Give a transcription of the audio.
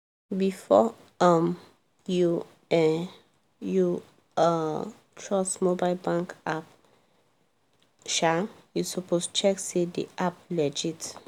before um you um you um trust mobile bank app um you suppose check say the app legit.